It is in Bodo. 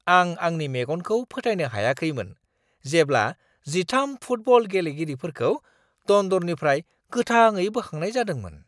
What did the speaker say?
आं आंनि मेगनखौ फोथायनो हायाखैमोन जेब्ला 13 फुटबल गेलेगिरिफोरखौ दन्दरनिफ्राय गोथाङै बोखांनाय जादोंमोन!